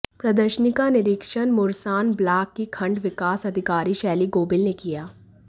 प्रदर्शनी का निरीक्षण मुरसान ब्लाक की खण्ड विकास अधिकारी शैली गोबिल ने किया